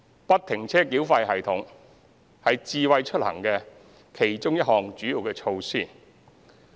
"不停車繳費系統"是"智慧出行"的其中一項主要措施。